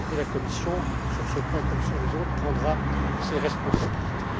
La Commission, sur ce point comme sur les autres, prendra ses responsabilités.